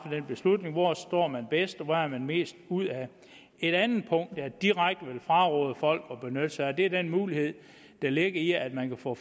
den beslutning hvor står man bedst og hvad har man mest ud af et andet punkt jeg direkte vil fraråde folk at benytte sig af er den mulighed der ligger i at man kan få